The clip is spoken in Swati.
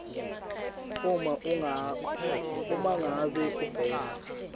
uma ngabe ubhema